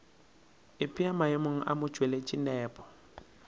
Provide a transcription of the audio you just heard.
ipea maemong a motšweletši nepo